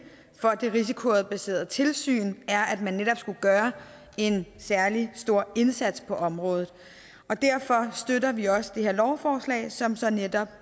for det risikobaserede tilsyn er at man netop skulle gøre en særlig stor indsats på området og derfor støtter vi også det her lovforslag som så netop